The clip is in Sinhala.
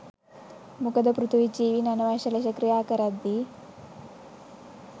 මොකද පෘථිවි ජීවීන් අනවශ්‍ය ලෙස ක්‍රියාකරද්දී